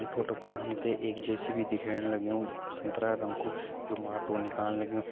ई photo पर हम तैं एक जे.सी.बी दिखेण लग्युं संतरा रंग कू जू माटु निकालन लग्युं।